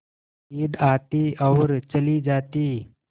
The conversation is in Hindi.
ईद आती और चली जाती